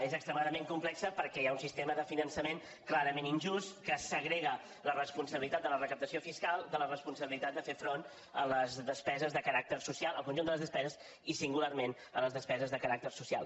és extremadament complexa perquè hi ha un sistema de finançament clarament injust que segrega la responsabilitat de la recaptació fiscal de la responsabilitat de fer front a les despeses de caràcter social al conjunt de les despeses i singularment a les despeses de caràcter social